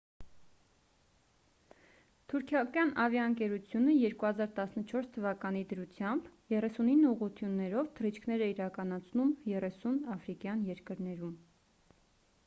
թուրքական ավիաընկերությունը 2014 թվականի դրությամբ 39 ուղղություններով թռիչքներ է իրականացնում 30 աֆրիկյան երկրներում